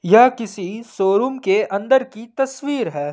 यह किसी शोरूम के अंदर की तस्वीर है।